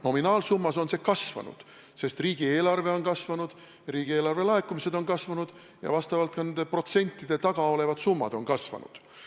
Nominaalsummas on see kasvanud, sest riigieelarve on kasvanud, riigieelarve laekumised on kasvanud ja vastavalt ka nende protsentide taga olevad summad on kasvanud.